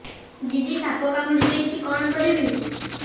ଦିଦି ସାପ କାମୁଡି ଦେଇଛି କଣ କରିବି